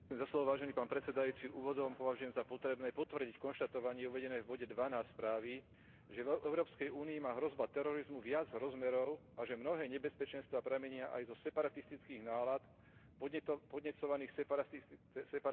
Úvodom považujem za potrebné potvrdiť konštatovanie uvedené v bode 12 správy, že v Európskej únii má hrozba terorizmu viac rozmerov a že mnohé nebezpečenstvá pramenia aj zo separatistických nálad podnecovaných separatistickými hnutiami.